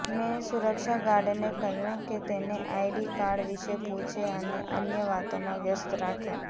મે સુરક્ષા ગાર્ડને કહ્યું કે તેને આઈડી કાર્ડ વિશે પૂછે અને અન્ય વાતોમાં વ્યસ્ત રાખે